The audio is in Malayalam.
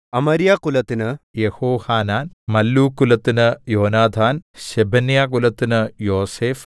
അമര്യാകുലത്തിന് യെഹോഹാനാൻ മല്ലൂക്ക്കുലത്തിന് യോനാഥാൻ ശെബന്യാകുലത്തിന് യോസേഫ്